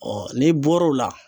n'i bɔr'o la.